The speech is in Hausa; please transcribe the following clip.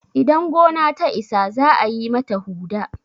idan gona ta Isa za a yi mata Huɗa